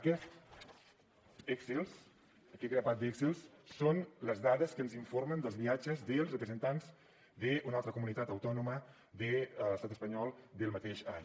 aquests excels aquest grapat d’excels són les dades que ens informen dels viatges dels representants d’una altra comunitat autònoma de l’estat espanyol del mateix any